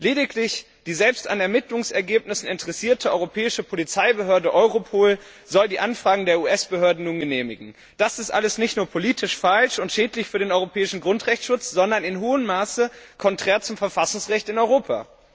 Lediglich die selbst an Ermittlungsergebnissen interessierte Europäische Polizeibehörde Europol soll die Anfragen der US Behörden nun genehmigen. Das alles ist nicht nur politisch falsch und schädlich für den europäischen Grundrechtschutz, sondern in hohem Maße konträr zum Verfassungsrecht in Europa.